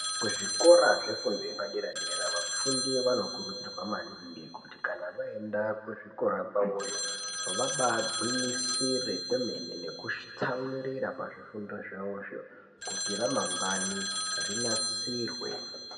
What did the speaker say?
Kuzvikora zvefundo yepaderadera vafundi vanokurudzirwa maningi kuti kana vaenda kuzvikora kwawoyo vabaagwinyisire kwemene nekutsamwirira pazvifundozvawozvo kuti ramangwani rinasirwe.